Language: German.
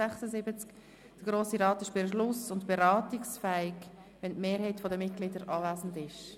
«Der Grosse Rat ist beschluss- und beratungsfähig, wenn die Mehrheit der Mitglieder anwesend ist.